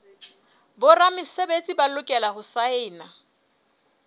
boramesebetsi ba lokela ho saena